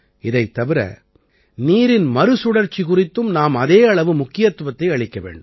இதைத் தவிர நீரின் மறுசுழற்சி குறித்தும் நாம் அதே அளவு முக்கியத்துவத்தை அளிக்க வேண்டும்